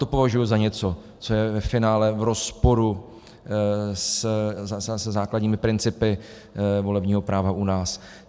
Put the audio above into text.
To považuji za něco, co je ve finále v rozporu se základními principy volebního práva u nás.